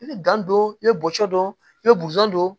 I bɛ don i bɛ bɔ cɔ don i bɛ bosɔn don